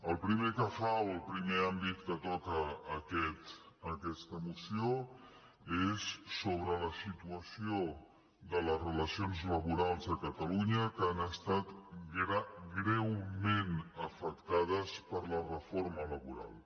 el primer que fa o el primer àmbit que toca aquesta moció és sobre la situació de les relacions laborals a catalunya que han estat greument afectades per la re·forma laboral